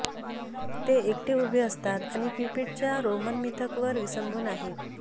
ते एकटे उभे असतात आणि क्युपिडच्या रोमन मिथकवर विसंबून आहेत